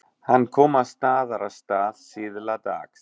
Hann kom að Staðarstað síðla dags.